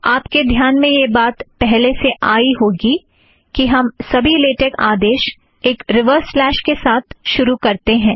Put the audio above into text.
आप के ध्यान में यह बात पहले से ही आई होगी कि हम सभी लेटेक आदेश एक रिवर्स स्लेश के साथ शुरू करते हैं